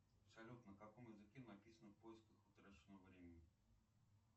салют на каком языке написано в поисках утраченного времени